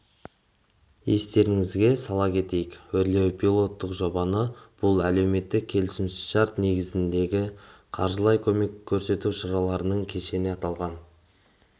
естеріңізге сала кетейік өрлеу пилоттық жобасы бұл әлеуметтік келісімшарт негізіндегі қаржылай көмек көрсету шараларының кешені аталған